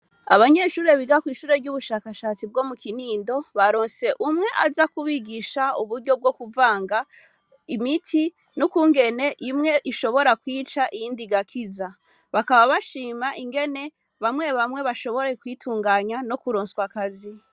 abanyeshure biga mw'ishure ryubushakashatsi bwo mu kinindo baronse umwe aza kubigisha uburyo bwokuvanga imiti nukungene ishobora kwica iyindi igakiza bakaba bashima ingene bamye bamye bashoboye kwitunganya no kuronswa akazi